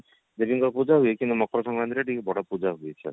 ଦେବୀଙ୍କ ପୂଜା ହୁଏ କିନ୍ତୁ ମକର ସଂକ୍ରାନ୍ତି ରେ ଟିକେ ବଡ ପୂଜା ହୁଏ